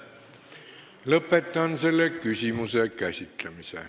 Lõpetan selle küsimuse käsitlemise.